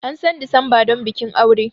An san Disamba don bikin aure.